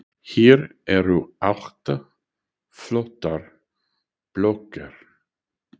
Hér eru átta flottar blokkir.